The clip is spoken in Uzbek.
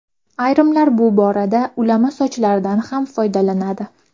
Ayrimlar bu borada ulama sochlardan ham foydalanadi.